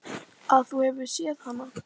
Að þú hafir séð hana?